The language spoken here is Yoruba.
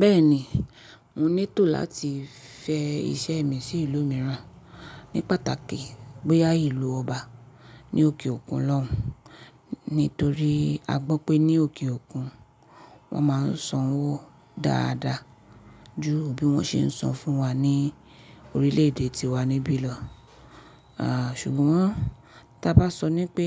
Bẹ́ẹ̀ ni, mo ní tò láti fẹ iṣẹ́ mi sí ìlú mìíràn ní pàtàkì bóyá ìlú ọba ní òkè òkun lọ́hun. Nítorí a gbọ́ pé ní òkè òkun wọ́n máa ń san owó dáadáa ju bí wọ́n ṣe ń san fún wa ní orílẹ̀ èdè tí wá níbí lọ. Ah, ṣùgbọ́n tí a bá sọ ní pé